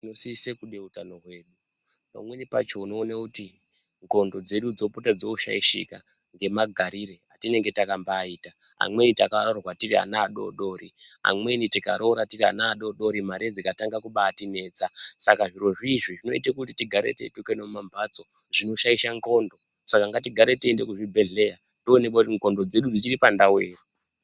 Tinosise kuda utano hwedu pamweni pacho unoona kuti ndxondo dzedu dzopota dzoshaishika ngemagarire atinenge takambaita amweni takaroorwa tiri ana adoodori amweni tikaroora tiri ana adoodori mari dzikatanga kubatinetsa saka zvirozvi zvinoita kuti tigare teitukana mumamphatso zvinoshaisa ndxondo saka ngatigare teiende kuzvibhedhlera toonekwa kuti ndxondo dzedu dzichiri pandau ere.